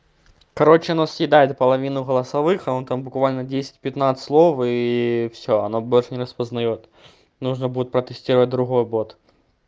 короче оно съедает половину голосовых а он там буквально десять пятнадцать слов и всё оно больше не распознаёт нужно будет протестировать другой бот